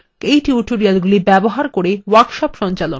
এই tutorialsগুলি ব্যবহার করে workshop সঞ্চালন করে